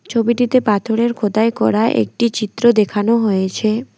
ছবিটিতে পাথরের খোদাই করা একটি চিত্র দেখানো হয়েছে।